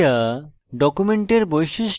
display area